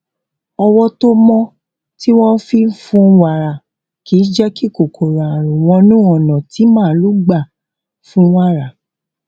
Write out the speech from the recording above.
ọwó tó mó tí wón fi fún wàrà kì jé kí kòkòrò àrùn wọnú ònà tí màlúù gbà fún wàrà